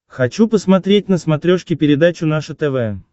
хочу посмотреть на смотрешке передачу наше тв